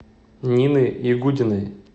нины ягудиной